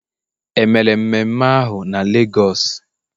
e mere mmeme ahu na Lagos?